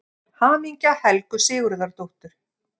HAMINGJA HELGU SIGURÐARDÓTTUR